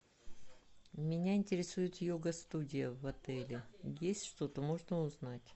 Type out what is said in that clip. меня интересует йога студия в отеле есть что то можно узнать